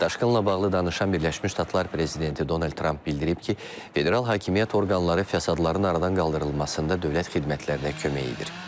Daşqınla bağlı danışan Birləşmiş Ştatlar prezidenti Donald Tramp bildirib ki, federal hakimiyyət orqanları fəsadların aradan qaldırılmasında dövlət xidmətlərinə kömək edir.